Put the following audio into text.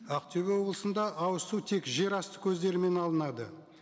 ақтөбе облысында ауызсу тек жерасты көздерімен алынады